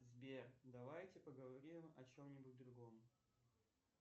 сбер давайте поговорим о чем нибудь другом